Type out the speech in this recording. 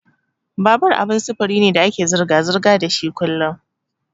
Babur abin sufuri ne da ake zirga-zirga dashi kullun.